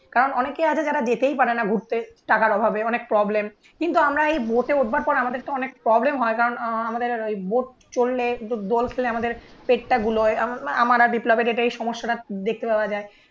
কারণ অনেকেই আছে যারা যেতেই পারে না ঘুরতে. টাকার অভাবে, অনেক প্রবলেম কিন্তু আমরা এই ভোটে ওঠবার পর আমাদের তো অনেক প্রবলেম হয় কারণ আমাদের ওই বোট চললে দোল খেললে আমাদের পেটটা বুলয় আমরা বিপ্লবের এটাই সমস্যাটা দেখতে পাওয়া